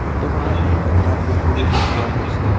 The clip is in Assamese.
ফটোখনত এটা পুখুৰী দেখুওৱা হৈছে।